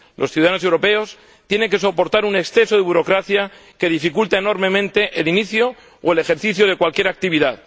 Los ciudadanos europeos tienen que soportar un exceso de burocracia que dificulta enormemente el inicio o el ejercicio de cualquier actividad.